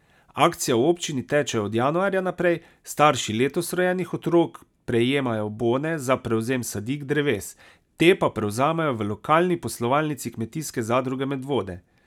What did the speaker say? Akcija v občini teče od januarja naprej, starši letos rojenih otrok prejemajo bone za prevzem sadik dreves, te pa prevzamejo v lokalni poslovalnici Kmetijske zadruge Medvode.